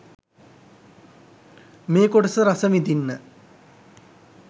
මේ කොටස රසවිඳින්න